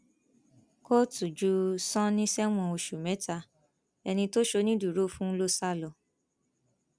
kóòtù ju sani sẹwọn oṣù mẹta ẹni tó ṣonídùúró fún ló sá lọ